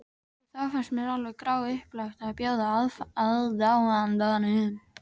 Og þá fannst mér alveg gráupplagt að bjóða aðdáandanum.